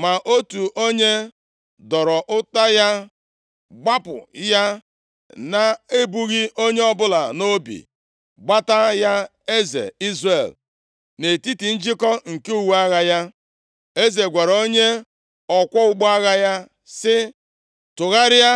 Ma otu onye dọrọ ụta ya gbapụ ya na-ebughị onye ọbụla nʼobi, gbata ya eze Izrel nʼetiti njikọ nke uwe agha ya. + 22:34 Eleghị anya ebe uwe agha ya na-ekpuchiteghị Eze gwara onye ọkwọ ụgbọ agha ya, sị, “Tụgharịa,